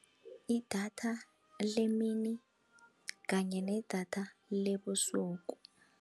Idatha lemini kanye nedatha lebusuku.